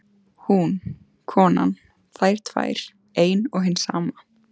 Hún, konan, þær tvær, ein og hin sama.